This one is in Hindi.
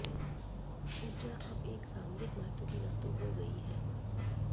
ऊर्जा अब एक सामरिक महत्व की वस्तु हो गई है